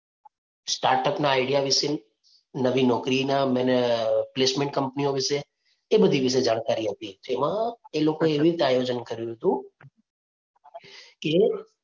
start up નાં idea વિશે. નવી નોકરીના placement કંપનીઓ વિશે એ બધી વિશે જાણકારી હતી તેમાં એ લોકો એ એવી રીતે આયોજન કર્યું હતું કે